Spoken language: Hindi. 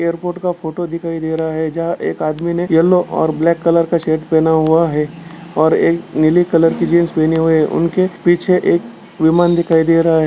एयरपोर्ट का फोटो दिखाई दे रहा है जहाँ एक आदमी ने येलो और ब्लैक कलर का शर्ट पेहना हुआ है और एक नीले कलर की जीन्स पहनी हुई है उनके पीछे एक विमान दिखाई दे रहा है।